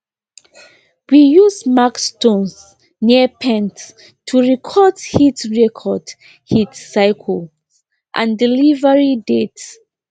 we use marked stones near pens to record heat record heat cycles and delivery dates